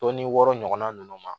Tɔn ni wɔɔrɔ ɲɔgɔnna ninnu ma